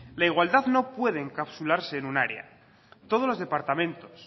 la igualdad no puede encapsularse en un área todos los departamentos